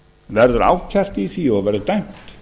verður ákært í því og verður dæmt